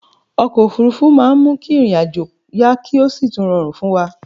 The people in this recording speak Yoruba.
Okò òfúrufú ma n mu ìrìn ajo yá ki o si tún rorùn fún wa